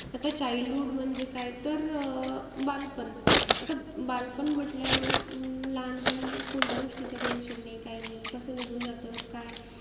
आता childhood म्हणजे काय तर अं बालपण. आता बालपण म्हंटल्यावर अं कोणत्या गोष्टीचं tention नाई काही नाई. कसं निघून जातं, काय.